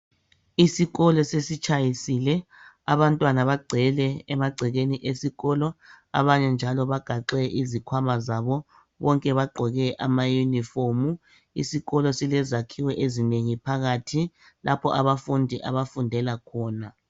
Isikolo sesitshayisile , abantwana bagcwele emagcekeni esikolo. Abanye njalo bagaxe izikhwama zabo. Bonke bagqoke amayunifomu. Isikolo silezakhiwo ezinengi phakathi lapha abafundi abafundela khona.